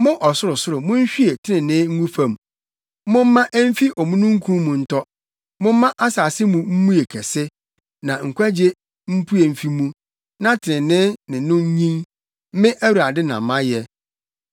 “Mo ɔsorosoro munhwie trenee ngu fam; momma emfi omununkum mu ntɔ momma asase mu mmue kɛse, na nkwagye mpue mfi mu, na trenee ne no nnyin; Me, Awurade na mayɛ.